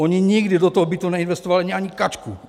Oni nikdy do toho bytu neinvestovali ani kačku.